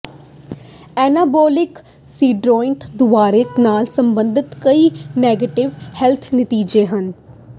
anabolic steroid ਦੁਰਵਿਹਾਰ ਨਾਲ ਸੰਬੰਧਿਤ ਕਈ ਨੈਗੇਟਿਵ ਹੈਲਥ ਨਤੀਜੇ ਹਨ